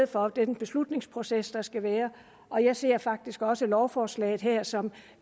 for den beslutningsproces der skal være og jeg ser faktisk også lovforslaget her som